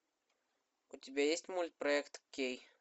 у тебя есть мульт проект кей